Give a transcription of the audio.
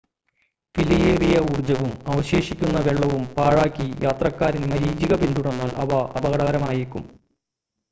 വിലയേറിയ ഊർജ്ജവും അവശേഷിക്കുന്ന വെള്ളവും പാഴാക്കി യാത്രക്കാരൻ മരീചിക പിന്തുടർന്നാൽ ഇവ അപകടകരമായേക്കും